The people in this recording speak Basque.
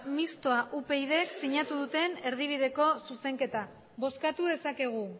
mistoa upydk sinatu duten erdibideko zuzenketa bozkatu dezakegu